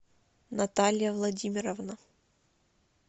наталья владимировна